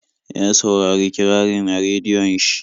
Ya saurari kirarin a rediyon shi.